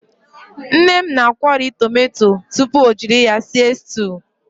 Nne m na-akwori tomato tupu o jiri ya sie styuu.